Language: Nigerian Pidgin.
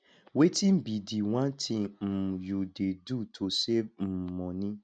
wetin be di one thing um you dey do to save um money